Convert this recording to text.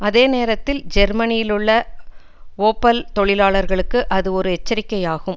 அதே நேரத்தில் ஜேர்மனியிலுள்ள ஓப்பல் தொழிலாளர்களுக்கு அது ஒரு எச்சரிக்கையாகும்